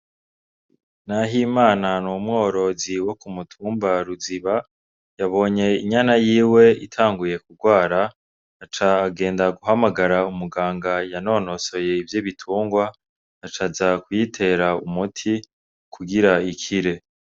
Nahimana ni umworozi wo ku mutumba Ruziba, yabonye impene yiwe itanguye kugwara, aca agenda guhamagara umuganga yanonosoye ivy'ibitungwa, aca aza kuyitera umuti kugira ikire.